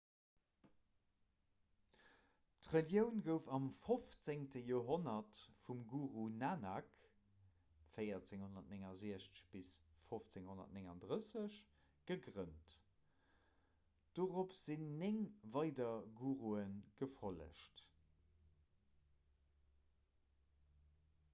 d'relioun gouf am 15. joerhonnert vum guru nanak 1469 – 1539 gegrënnt. dorop sinn néng weider gurue gefollegt